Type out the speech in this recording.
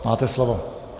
Máte slovo.